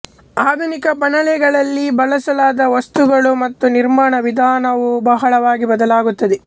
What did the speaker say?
ಆಧುನಿಕ ಬಾಣಲೆಗಳಲ್ಲಿ ಬಳಸಲಾದ ವಸ್ತುಗಳು ಮತ್ತು ನಿರ್ಮಾಣ ವಿಧಾನವು ಬಹಳವಾಗಿ ಬದಲಾಗುತ್ತದೆ